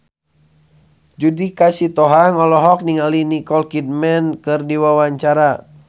Judika Sitohang olohok ningali Nicole Kidman keur diwawancara